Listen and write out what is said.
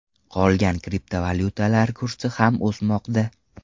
Qolgan kriptovalyutalar kursi ham o‘smoqda.